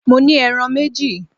Mo ní ẹran méjì!